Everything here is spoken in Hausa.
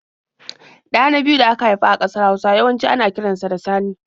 Ɗa na biyu da aka haifa a ƙasar Hausa yawanci ana kiran sa da Sani.